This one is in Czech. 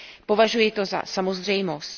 Považuji to za samozřejmost.